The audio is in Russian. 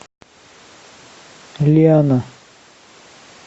лиана